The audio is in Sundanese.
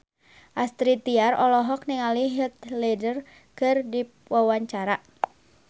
Astrid Tiar olohok ningali Heath Ledger keur diwawancara